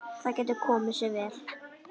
Það getur komið sér vel.